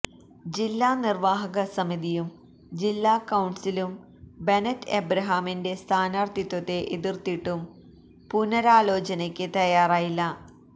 ജില്ലാ നിർവാഹക സമിതിയും ജില്ലാ കൌൺസിലും ബെനറ്റ് എബ്രഹാമിന്റെ സ്ഥാനാർത്ഥിത്വത്തെ എതിർത്തിട്ടും പുനരാലോചനക്ക് തയാറായില്ല